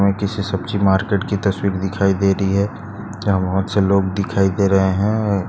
ये किसी सब्जी मार्केट की तस्वीर दिखाई दे रही है यहा बहुत से लोग दिखाई दे रहे है।